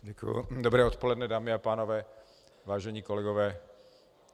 Dobré odpoledne, dámy a pánové, vážení kolegové.